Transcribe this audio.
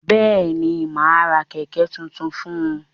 Bẹ́ẹ̀ni, mà á ra kẹ̀ẹ̀kẹ́ tuntun fún un.